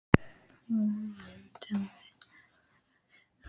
Kristján Már Unnarsson: Þín tillaga, út á hvað gekk hún?